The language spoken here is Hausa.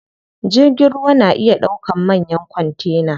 Jirgin ruwa na iya ɗaukan manyan kontena.